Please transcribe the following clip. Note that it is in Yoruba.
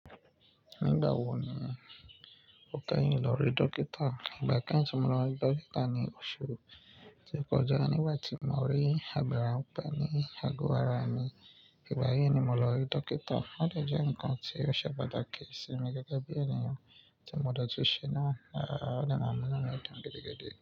Nígbà wo ni o kẹ́yìn lọ rí dókítà? Ìgbà kẹ́yìn tí mo lọ rí dókítà ni oṣù tó kọjá nígbà tí mo rí agbára òpè ni àgọ ara mi. Ìgbà yí ni mo lọ rí dókítà. Ó de jẹ́ nǹkan tí ó ṣe pàtàkì sí mi gẹ́gẹ́ bí ènìyàn tí mo dojú se náà, à, a de mo mọ̀ ọ́n mìíràn gidi gidi.